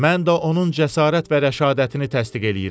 Mən də onun cəsarət və rəşadətini təsdiq eləyirəm.